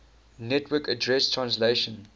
network address translation